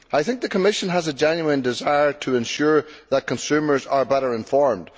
I think the Commission has a genuine desire to ensure that consumers are better informed.